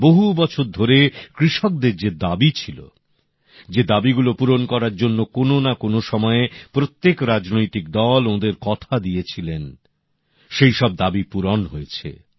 বহু বছর ধরে কৃষকদের যে দাবি ছিল যে দাবিগুলো পূরণ করার জন্য কোন না কোন সময়ে প্রত্যেক রাজনৈতিক দল ওঁদের কথা দিয়েছিল সেই সব দাবি পূরণ হয়েছে